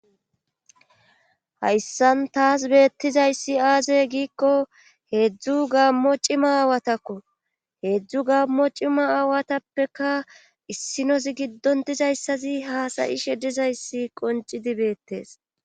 hayssan taas beettizayssi aaze giikko heedzdzu gammo cima aawatakko heedzdzu gammo cima aawatappeka issinosi giddon dizayssazi haasayi she dizayssi qoncidi beettes